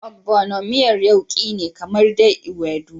Ogbono miyan yauki ne kamar dai Ewedu.